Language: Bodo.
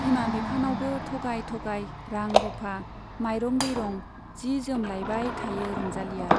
बिमा बिफानावबो थगाय थगाय रां रुफा , माइरं दैरं , जि जोम लाइबाय थायो रंजालीया।